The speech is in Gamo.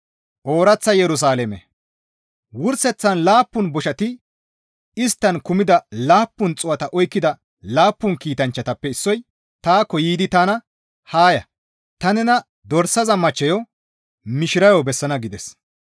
Wurseththan laappun boshati isttan kumida laappun xuu7ata oykkida laappun kiitanchchatappe issoy taakko yiidi tana, «Haa ya! Ta nena Dorsaza machcheyo mishirayo bessana» gides.